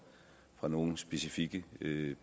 fra nogle specifikke